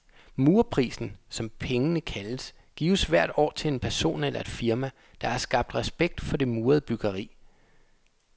Murerprisen, som pengene kaldes, gives hvert år til en person eller et firma, der har skabt respekt for det murede byggeri.